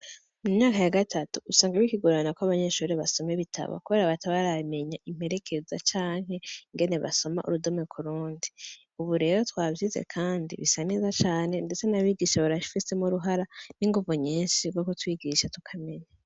Mu myaka ya gatatu usanga bikigorana ko abanyeshure basoma ibitabu, kubera bataba baramenya imperekeza canke ingene basoma urudome ku rundi. Ubu rero twavyize kandi bisa neza cane, ndetse n'abigisha barafisemwo uruhara n'inguvu nyinshi kubwo kutwigisha tukamenya.